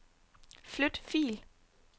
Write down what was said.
Flyt fil.